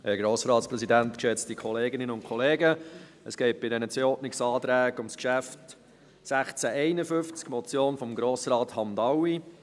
Bei diesen zwei Ordnungsanträgen geht es um das Geschäft 2019.RRGR.197, die Motion von Mohamed Hamdaoui «